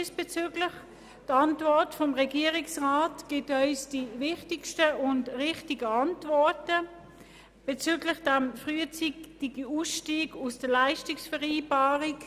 Die Antwort des Regierungsrats gibt uns die wichtigsten und richtigen Antworten auf den frühzeitigen Ausstieg aus der Leistungsvereinbarung.